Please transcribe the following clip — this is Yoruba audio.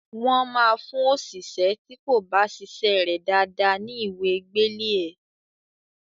Wọ́n máa fún òṣìṣé tí kò bá ṣiṣẹ́ rẹ̀ dáadáa ní ìwé gbélé ẹ.